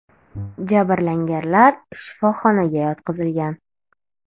Jabrlanganlar shifoxonaga yotqizilgan.